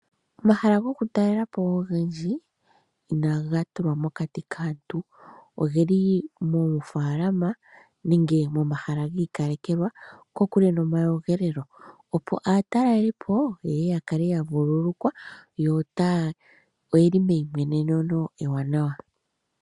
Omahala gokutalela po ogendji inaga tulwa mokati kaantu. Go oge li moofaalama, nenge momahala giikalekelwa ge li kokule nomayogelelo, opo aatalelipo ye ye ya kale ya vululukwa, yo oye li meyimweneneno ewanawa.